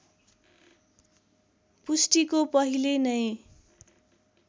पुष्टिको पहिले नै